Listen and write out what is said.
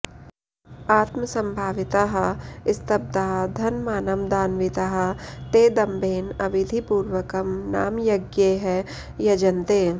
आत्मसम्भाविताः स्तब्धा धनमानमदान्विताः ते दम्भेन अविधिपूर्वकं नामयज्ञैः यजन्ते